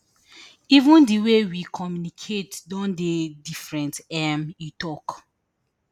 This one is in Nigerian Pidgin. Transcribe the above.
even di way we communicate don dey different um e tok